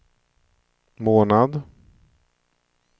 månad